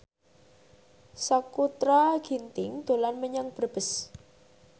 Sakutra Ginting dolan menyang Brebes